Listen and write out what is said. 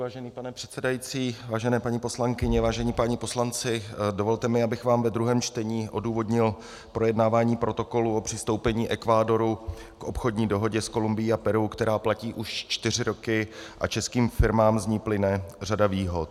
Vážený pane předsedající, vážené paní poslankyně, vážení páni poslanci, dovolte mi, abych vám ve druhém čtení odůvodnil projednávání protokolu o přistoupení Ekvádoru k Obchodní dohodě s Kolumbií a Peru, která platí už čtyři roky a českým firmám z ní plyne řada výhod.